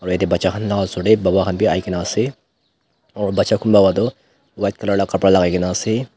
right dae bacha khan la osor dae baba khan bhi ahikena ase aur bacha kunba ba tuh white colour la kapra lagaikena ase.